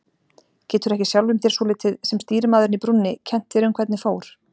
Getur ekki sjálfum þér svolítið, sem stýrimaðurinn í brúnni, kennt þér um hvernig fór?